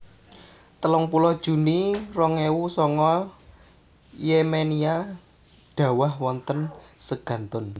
telung puluh juni rong ewu sanga Yemenia dhawah wonten segantun